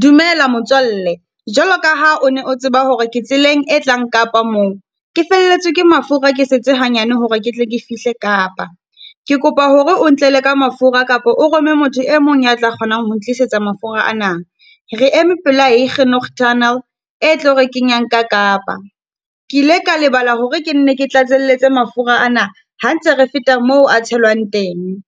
Dumela motswalle, jwalo ka ha o ne o tseba hore ke tseleng e tlang Kapa moo. Ke felletswe ke mafura ke setse hanyane hore ke tle ke fihle Kapa. Ke kopa hore o ntlela ka mafura kapa o rome motho e mong ya tla kgonang ho ntlisetsa mafura ana. Re eme pela Huguenot Tunnel, e tlo re kenyang ka Kapa. Ke ile ka lebala hore ke nne ke tlatselletse mafura ana ha ntse re feta moo a tshelwang teng.